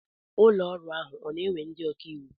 Ụlọọrụ ahụ ọ na-ewe ndị ọkaiwu?